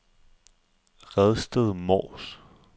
Redsted Mors